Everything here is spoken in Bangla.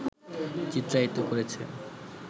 চিত্রায়িত করেছে